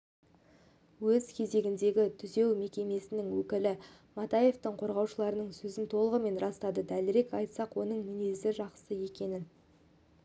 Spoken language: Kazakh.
өз кезегінде түзеу мекемесінің өкілі матаевтың қорғаушыларының сөзін толығымен растады дәлірек айтсақ оның мінезінің жақсы екенін